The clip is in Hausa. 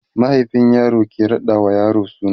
mahaifin yaro ke raɗa wa yaro suna